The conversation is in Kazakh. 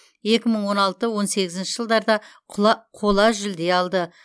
екі мың он алты он сегізінші жылдарда қола жүлде алды